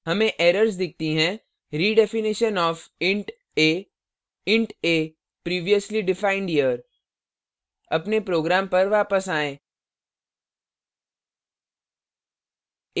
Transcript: come errors दिखती हैं redefinition of int a int a previously defined here अपने program पर वापस आएँ